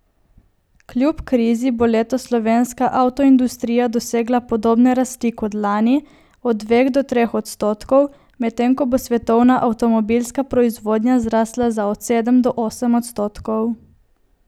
Kljub krizi bo letos slovenska avtoindustrija dosegla podobne rasti kot lani, od dveh do treh odstotkov, medtem ko bo svetovna avtomobilska proizvodnja zrasla za od sedem do osem odstotkov.